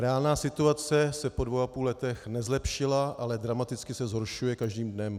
Reálná situace se po dvou a půl letech nezlepšila, ale dramaticky se zhoršuje každým dnem.